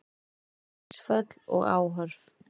Vatnsföll og árrof